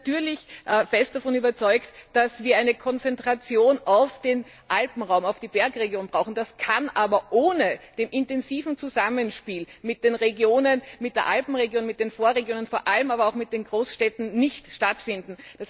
Wir sind natürlich fest davon überzeugt, dass wir eine Konzentration auf den Alpenraum, auf die Bergregion brauchen. Das kann aber ohne das intensive Zusammenspiel mit den Regionen, mit der Alpenregion, mit den Vorregionen, vor allem aber auch mit den Großstädten nicht stattfinden.